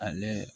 Ale